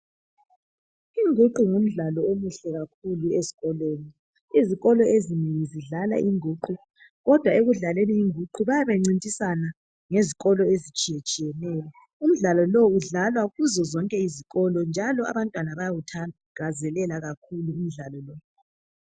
Inguqu ngumdlalo omuhle kakhulu ezikolweni. Izikolo ezinengi zidlala inguqu . Kodwa ekudlaleni inguqu bayabe bencintisana ngezikolo ezitshiye tshiyeneyo .Imidlalo lowu udlalwa kuzo zonke izikolo njalo abantwana bayawuthakazelela kakhulu umdlalo lo.